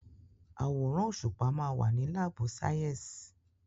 Àwòrán òṣùpá ma wà ní lábù sàyẹ́sì.